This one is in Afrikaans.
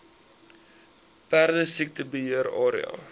perdesiekte beheer area